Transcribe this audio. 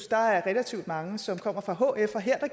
der er relativt mange som kommer fra hf og her